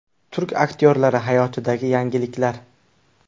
Turk aktyorlari hayotidagi yangiliklar.